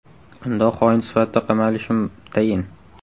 Unda xoin sifatida qamalishim tayin.